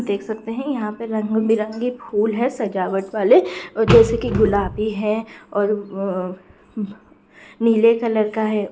देख सकते है यहाँ पे रंग-बिरंगे फूल हैं सजावट वाले और जैसे की गुलाबी है नील कलर का हैं।